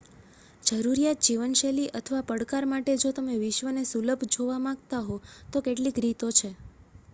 જરૂરિયાત જીવનશૈલી અથવા પડકાર માટે જો તમે વિશ્વને સુલભ જોવા માંગતા હો તો કેટલીક રીતો છે